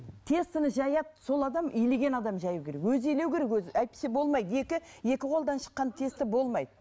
тестаны жаяды сол адам илеген адам жаю керек өзі илеу керек өзі әйтпесе болмайды екі екі қолдан шыққан теста болмайды